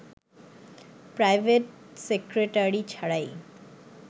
private secretary ছাড়াই